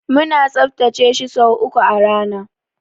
Muna tsaftace shi sau uku a rana.